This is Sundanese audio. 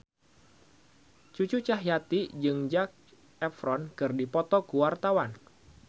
Cucu Cahyati jeung Zac Efron keur dipoto ku wartawan